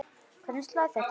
Hvernig slær þetta þig?